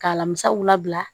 K'a lamisaaw labila